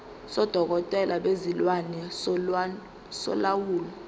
sodokotela bezilwane solawulo